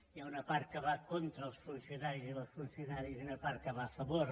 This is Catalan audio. hi ha una part que va contra els funcionaris i les funcionàries i una part que hi va a favor